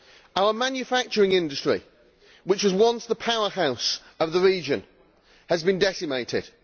Our manufacturing industry, which was once the powerhouse of the region, has been decimated.